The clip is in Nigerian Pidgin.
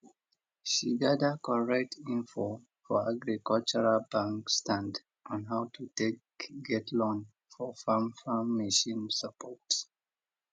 she gather correct info for agricultural bank stand on how to take get loan for farm farm machine support